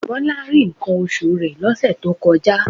Bọlá rí nǹkan oṣù rẹ̀ lọ́sẹ̀ tó kọjá